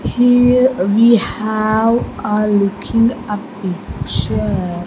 Here we have a looking a picture --